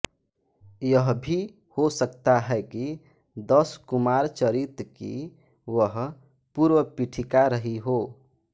यह भी हो सकता है कि दशकुमारचरित की वह पूर्वपीठिका रही हो